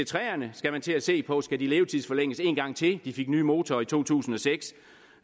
togene skal man til at se på skal de levetidsforlænges en gang til de fik nye motorer i to tusind og seks